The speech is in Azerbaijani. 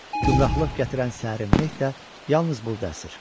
Gümrahlıq gətirən səhər meh də yalnız burda əsir.